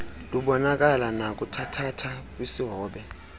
lubonakala nakuthathatha kwisihobe